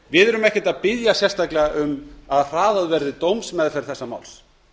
við erum ekki að biðja sérstaklega um að hraðað verði dómsmeðferð þessa máls